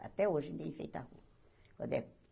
Até hoje enfeita a rua. quando é